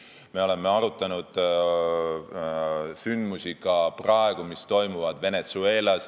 Me oleme arutanud sündmusi, mis toimuvad Venezuelas.